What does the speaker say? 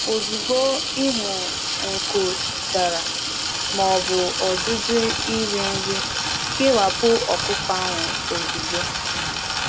Ozugbo i hụrụ aka dara ada maọbụ nkụda inye nri, kee anụ ọkụkọ ahụ ozugbo.